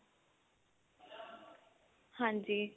ਹਾਂਜੀ